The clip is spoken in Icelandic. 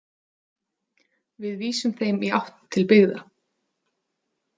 Við vísum þeim í átt til byggða.